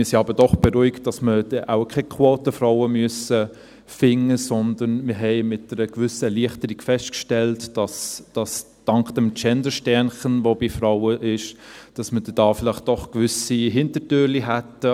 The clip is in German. Wir sind aber doch beruhigt, dass wir wahrscheinlich keine Quotenfrauen finden müssten, sondern haben mit einer gewissen Erleichterung festgestellt, dass man dank des Gendersternchens, das bei Frauen ist, gewisse Hintertürchen hätte.